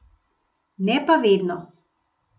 Ne pa vedno.